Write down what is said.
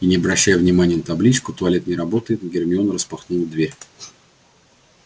и не обращая внимания на табличку туалет не работает гермиона распахнула дверь